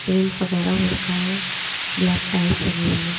Paint वगैरा हो रखा है ब्लैक टाइल्स लगी हुई है।